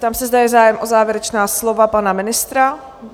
Zeptám se, zda je zájem o závěrečná slova pana ministra?